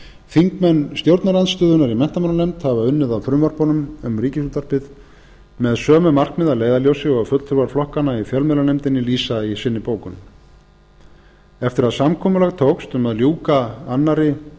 þingmenn stjórnarandstöðunnar í menntamálanefnd hafa unnið að frumvörpunum um ríkisútvarpið með sömu markmið að leiðarljósi og fulltrúar flokkanna í fjölmiðlanefndinni lýsa í bókun sinni eftir að samkomulag tókst um að ljúka annarrar umræðu um